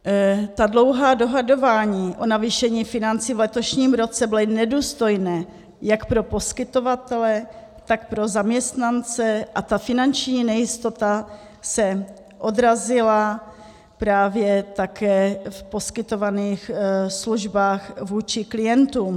Ta dlouhá dohadování o navýšení financí v letošním roce byla nedůstojná jak pro poskytovatele, tak pro zaměstnance, a ta finanční nejistota se odrazila právě také v poskytovaných službách vůči klientům.